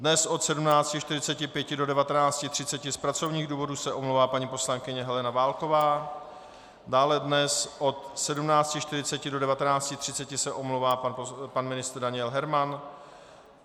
Dnes od 17.45 do 19.30 z pracovních důvodů se omlouvá paní poslankyně Helena Válková, dále dnes od 17.40 do 19.30 se omlouvá pan ministr Daniel Herman.